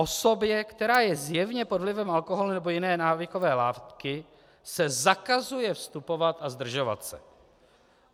Osobě, která je zjevně pod vlivem alkoholu nebo jiné návykové látky, se zakazuje vstupovat a zdržovat se.